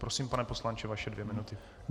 Prosím, pane poslanče, vaše dvě minuty.